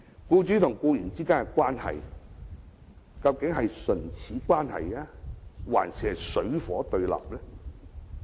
僱主和僱員之間究竟是唇齒相依的關係，還是水火不相容呢？